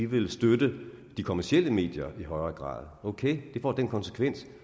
vil støtte de kommercielle medier i højere grad ok det får den konsekvens